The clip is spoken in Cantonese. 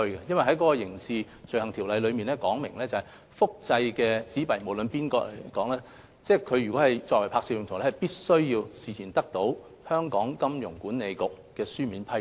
第一，《刑事罪行條例》訂明，任何人如要複製香港流通紙幣作拍攝用途，必須事先得到金管局書面批准。